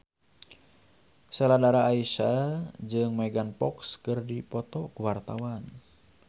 Sheila Dara Aisha jeung Megan Fox keur dipoto ku wartawan